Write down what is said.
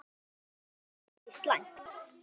Og það er ekki slæmt.